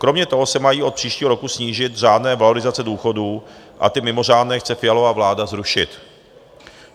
Kromě toho se mají od příštího roku snížit řádné valorizace důchodů a ty mimořádné chce Fialova vláda zrušit.